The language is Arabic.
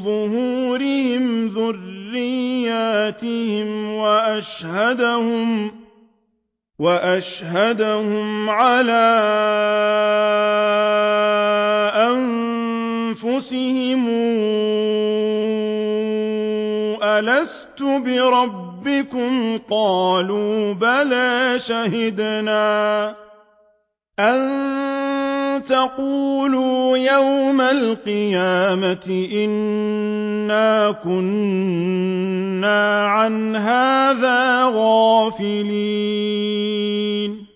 ظُهُورِهِمْ ذُرِّيَّتَهُمْ وَأَشْهَدَهُمْ عَلَىٰ أَنفُسِهِمْ أَلَسْتُ بِرَبِّكُمْ ۖ قَالُوا بَلَىٰ ۛ شَهِدْنَا ۛ أَن تَقُولُوا يَوْمَ الْقِيَامَةِ إِنَّا كُنَّا عَنْ هَٰذَا غَافِلِينَ